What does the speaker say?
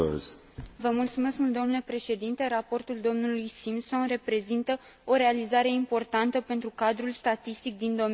Raportul domnului Simpson reprezintă o realizare importantă pentru cadrul statistic din domeniul turismului la nivel european.